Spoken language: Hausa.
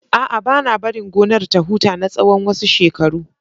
A'a, ba na barin gonar ta huta na tsawon wasu shekaru.